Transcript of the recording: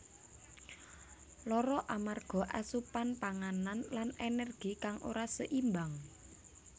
Lara amarga asupan panganan lan energi kang ora seimbang